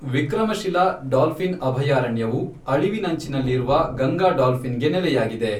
Vikramshila dolphin ಅಭಯಾರಣ್ಯವು ಅಳಿವಿನಂಚಿನಲ್ಲಿರುವ ಗಂಗಾ ಡಾಲ್ಫಿನ್ಗೆ ನೆಲೆಯಾಗಿದೆ.